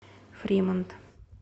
фримонт